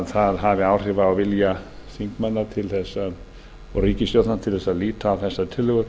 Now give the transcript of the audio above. það hafi áhrif á vilja þingmanna og ríkisstjórnar til að líta á þessa tillögu